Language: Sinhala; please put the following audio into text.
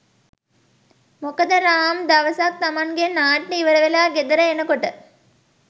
මොකද රාම් දවසක් තමන්ගේ නාට්‍යය ඉවරවෙලා ගෙදර එනකොට